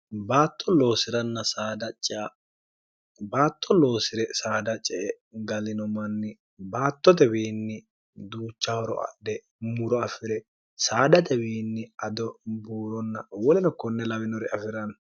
batto loosi'ranna sdcbaatto loosi're saada ce e galino manni baatto tewiinni duuchahoro adhe muro afi're saada tewiinni ado buuronna wolino konne lawinore afi'ranno